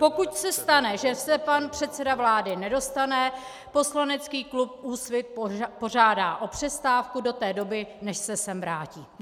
Pokud se stane, že se pan předseda vlády nedostaví, poslanecký klub Úsvit požádá o přestávku do té doby, než se sem vrátí.